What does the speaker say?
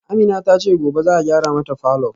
Amina tace gobe za'a gyara mata falor